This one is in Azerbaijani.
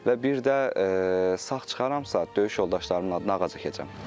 Və bir də sağ çıxaramsa, döyüş yoldaşlarımın adına ağac əkəcəm.